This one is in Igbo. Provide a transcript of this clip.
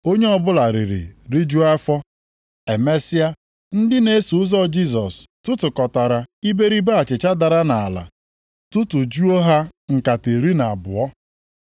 Onye ọbụla riri rijuo afọ. Emesịa, ndị na-eso ụzọ Jisọs tụtụkọtara iberibe achịcha dara nʼala tụtụjuo ha nkata iri na abụọ.